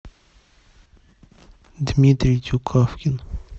дмитрий тюкавкин